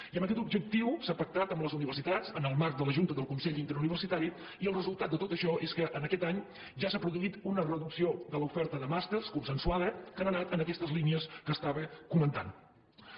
i amb aquest objectiu s’ha pactat amb les universitats en el marc de la junta del con·sell interuniversitari i el resultat de tot això és que en aquest any ja s’ha produït una reducció de l’oferta de màsters consensuada que ha anat en aquestes línies que comentava